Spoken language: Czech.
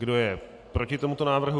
Kdo je proti tomuto návrhu?